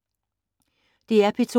DR P2